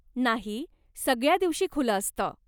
नाही, सगळ्या दिवशी खुलं असतं.